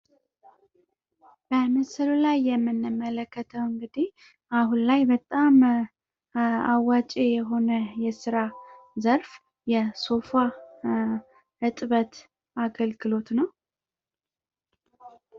በምስሉ ላይ የምንመለከተው እንግዲህ አሁን ላይ በጣም አዋጪ የሆነ የስራ ዘርፍ የሶፋ እጥበት አገልግሎት ነው።